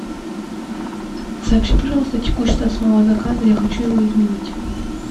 сообщи пожалуйста текущий статус моего заказа я хочу его изменить